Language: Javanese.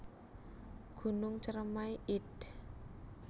Gunung Ceremai id